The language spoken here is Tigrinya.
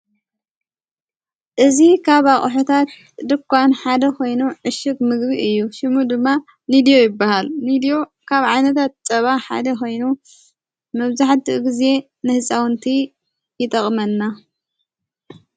እዝ ኻብ ኣቕሑታት ደኳን ሓደ ኾይኑ ዕሽኽ ምግቢ እዩ ሽሙ ድማ ኒድዩ ይበሃል ኒድዩ ካብ ዓይነታት ፀባ ሓደ ኾይኑ መብዙሕቲኡ ጊዜ ንሕፃውንቲ ይጠቕመና።